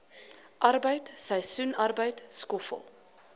arbeid seisoensarbeid skoffel